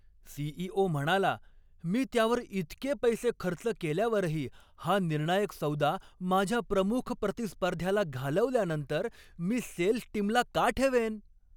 CEO. म्हणाला, मी त्यावर इतके पैसे खर्च केल्यावरही हा निर्णायक सौदा माझ्या प्रमुख प्रतिस्पर्ध्याला घालवल्यानंतर मी सेल्स टीमला का ठेवेन?